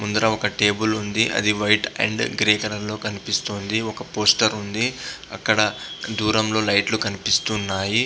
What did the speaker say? ముందర ఒక టేబల్ ఉంది. అది వైట్ అండ్ గ్రే కలర్ లో కనిపిస్తుంది. ఒక పోస్టర్ ఉంది అక్కడ దూరంలో లైట్ లు కనిపిస్తున్నాయి.